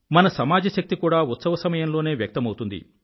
మన సమాజశక్తి కూడా ఉత్సవ సమయంలోనే వ్యక్తమౌతుంది